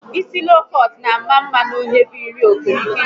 Isi loo kọọt n'ama mma n'onye bu ihu okirikiri